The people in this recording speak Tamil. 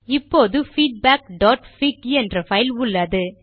இப்போது feedbackபிக் என்ற பைல் உள்ளது